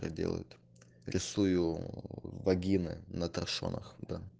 делают рисую вагины наташоных да